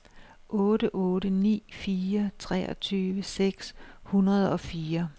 otte otte ni fire treogtyve seks hundrede og fire